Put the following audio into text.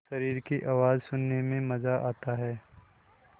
शरीर की आवाज़ सुनने में मज़ा आता है